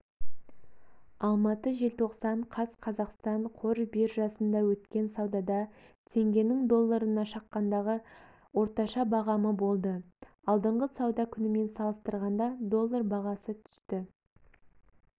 алматы желтоқсан қаз қазақстан қор биржасында өткен саудада теңгенің долларына шаққандағы орташа бағамы болды алдыңғы сауда күнімен салыстырғанда доллар бағасы түсті